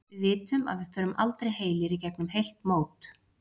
Við vitum að við förum aldrei heilir í gegnum heilt mót.